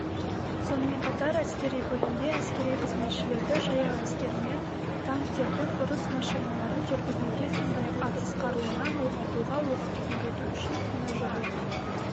сонымен қатар әскери бөлімде әскери қызметшілерді жаяу әскер мен танктердің ұрыс машиналарын жүргізуге сондай-ақ атыс қаруынан оқ атуға оқытып-үйрету үшін тренажерлық